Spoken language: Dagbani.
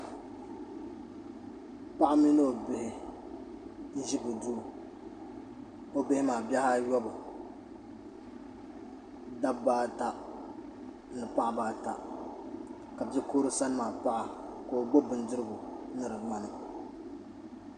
Paɣa mini o bihi n.ʒe bɛ duu o bihi maa bihi oyɔbu dabba ata ni paɣaba ata ka bikurili sani maa paɣa ka o gbubi bindirigu ni di ŋmani.